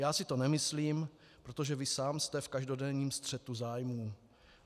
Já si to nemyslím, protože vy sám jste v každodenním střetu zájmů.